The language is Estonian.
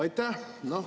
Aitäh!